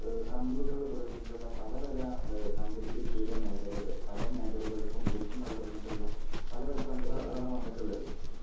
ഏഹ് കമ്പ്യൂട്ടറുകളും തുടങ്ങീട്ടുള്ള പലപല ഏഹ് സാങ്കേതികവിദ്യയുടെമേഖലക് പലമേഖലകൾക്കും ഊർജ്ജംപകർന്നുകൊണ്ടുള്ള പലപലകണ്ടുപിടിത്തങ്ങളാണ് വന്നിട്ടുള്ളത്.